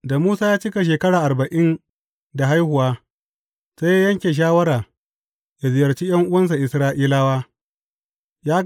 Da Musa ya cika shekara arba’in da haihuwa, sai ya yanke shawara yă ziyarci ’yan’uwansa Isra’ilawa.